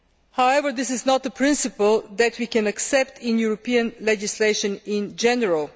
However, this is not a principle that we can accept in European legislation in general.